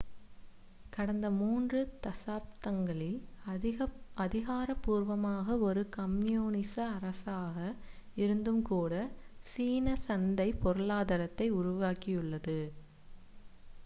கடந்த மூன்று தசாப்தங்களில் அதிகாரப்பூர்வமாக ஒரு கம்யூனிச அரசாக இருந்தும் கூட சீனா சந்தைப் பொருளாதாரத்தை உருவாக்கியுள்ளது